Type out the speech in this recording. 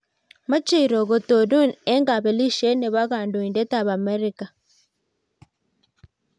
mechei "Rock" kotonon eng kapelesiet nebo kondoindet ab emet ab Amerika